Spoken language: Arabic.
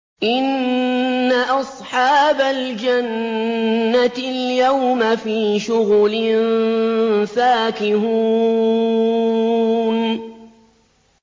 إِنَّ أَصْحَابَ الْجَنَّةِ الْيَوْمَ فِي شُغُلٍ فَاكِهُونَ